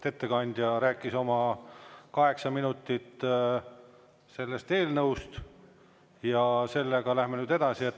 Ettekandja rääkis oma kaheksa minutit sellest eelnõust ja sellega läheme nüüd edasi.